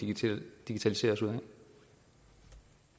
digitalisere os ud